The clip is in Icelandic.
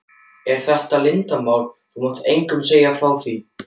En þetta er leyndarmál, þú mátt engum segja frá því.